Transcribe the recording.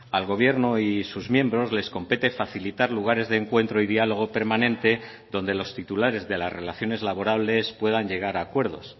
al gobierno y sus miembros les compete facilitar lugares de encuentro y diálogo permanente donde los titulares de las relaciones laborales puedan llegar a acuerdos